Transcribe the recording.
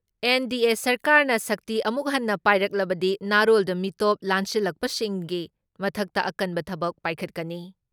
NDA ꯁꯔꯀꯥꯔꯅ ꯁꯛꯇꯤ ꯑꯃꯨꯛ ꯍꯟꯅ ꯄꯥꯏꯔꯛꯂꯕꯗꯤ ꯅꯥꯔꯣꯜꯗ ꯃꯤꯇꯣꯞ ꯂꯥꯟꯁꯤꯜꯂꯛꯄꯁꯤꯡꯒꯤ ꯃꯊꯛꯇ ꯑꯀꯟꯕ ꯊꯕꯛ ꯄꯥꯏꯈꯠꯀꯅꯤ ꯫